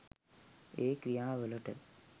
ඒ ක්‍රියා වලට